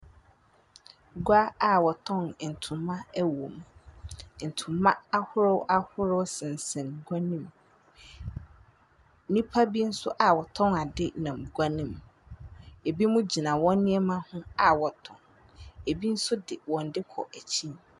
Gua a wɔtɔn ntoma wɔ mu. Ntoma ahorow ahorow sensɛn gua no mu. Nnipa bi nso a wɔtɔn ade nam gua no mu. Ebinom gyina wɔn nneɛma a wɔtɔn. Ebi nso de wɔn de kɔ akyin.